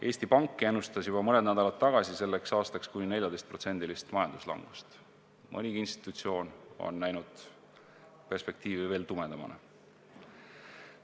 Eesti Pank ennustas juba mõni nädal tagasi selleks aastaks kuni 14%-list majanduslangust, nii mõnigi institutsioon on näinud perspektiivi veelgi tumedamana.